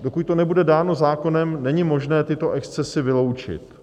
dokud to nebude dáno zákonem, není možné tyto excesy vyloučit.